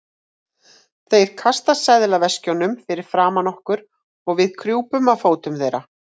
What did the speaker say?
Þeir kasta seðlaveskjunum fyrir framan okkur og við krjúpum að fótum þeirra.